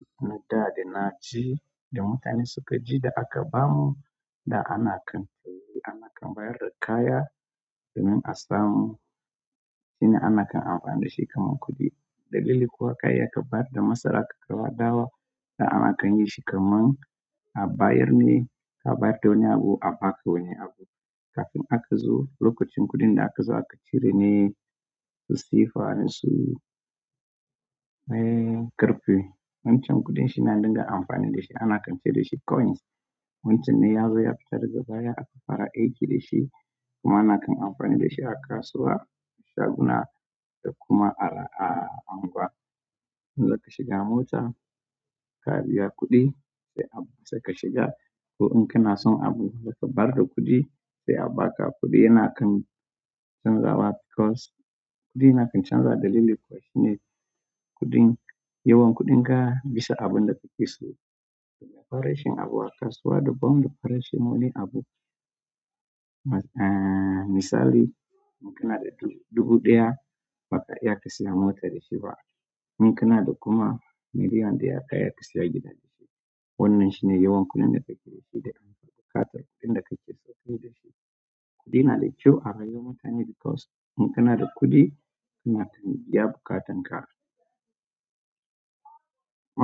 Da da na ci da mutane suka ji da aka bamu da ana kan saye, ana kan bayar da kaya da min asamu. Shine ana kan amfani da shi kamar kuɗi. Dalili kuwa kai ya kaɓar da masara ka kaiwa dawa, da ana kan yi shi kamar a bayar ne ka bayar da wani abu a baka wani abu. Kafin aka zo lokacin kuɗin da aka zo ake cire ne su sifa, su, eh, ƙarfe. Wancan kuɗin shi na dinga amfani da shi, ana kan ce da shi coins. Wancan ne ya zo ya fitar da gaba ya kai fara aiki da shi kuma ana kan amfani da shi a kasuwa, shaguna da kuma a, a unguwa. In za ka shiga mota, ka biya kuɗi sai a saka shiga. Ko in kina son abu, za kaɓar da kuɗi sai a baka kuɗi yana kan canzawa because kuɗi yana kan canzawa dalili kuwa shine kuɗin, yawan kuɗin ka bisa abun da kake so. Da farashin abu a kasuwa daban da farashin wani abu. Mas-- eh, misali in kina da dubu ɗaya ba ka iya ka saya mota da shi ba. In kina da kuma miliyan ɗaya ka iya ka saya gida da shi. Wannan shine yawan kuɗin da kake da shi da amfanin buƙatar kuɗin da kake ɗauke da shi. Kuɗi na da kyau a rayuwar mutane because in kina da kuɗi kana kan biya buƙatanka.